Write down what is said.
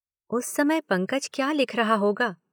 उस समय पंकज क्या लिख रहा होगा